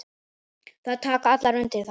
Þær taka allar undir það.